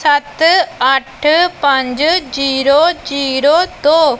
ਸੱਤ ਅੱਠ ਪੰਜ ਜ਼ੀਰੋ ਜੀਰੋ ਦੋ।